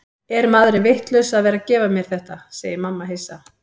Er maðurinn vitlaus að vera að gefa mér þetta, segir mamma hissa.